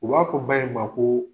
U b'a fɔ ba ye ma ko